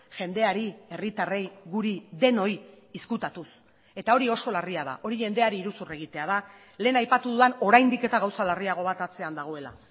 jendeari herritarrei guri denoi ezkutatuz eta hori oso larria da hori jendeari iruzur egitea da lehen aipatu dudan oraindik eta gauza larriago bat atzean dagoela